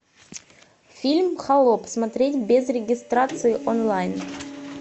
фильм холоп смотреть без регистрации онлайн